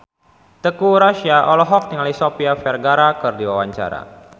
Teuku Rassya olohok ningali Sofia Vergara keur diwawancara